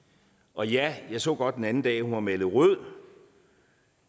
og ja jeg så godt den anden dag at hun var malet rød